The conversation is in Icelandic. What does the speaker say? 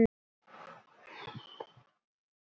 Magnhildur, stilltu tímamælinn á níu mínútur.